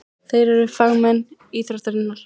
Þeir eru fagmenn íþróttarinnar.